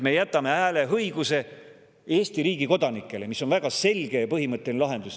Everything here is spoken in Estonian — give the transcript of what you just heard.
Me jätame hääleõiguse Eesti riigi kodanikele, mis on väga selge ja põhimõtteline lahendus.